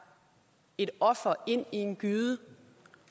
et offer ind i en gyde